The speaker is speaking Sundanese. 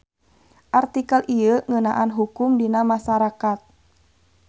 Artikel ieu ngeunaan hukum dina masarakat.